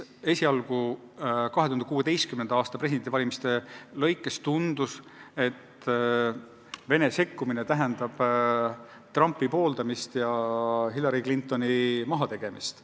2016. aasta presidendivalimiste ajal tundus, et Venemaa sekkumine tähendab Trumpi pooldamist ja Hillary Clintoni mahategemist.